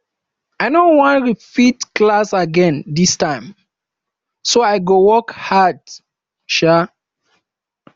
i no wan repeat class again dis term so i go work hard um